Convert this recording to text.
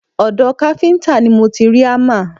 Ọ̀dọ̀ káfíńtà ni mo ti rí hámà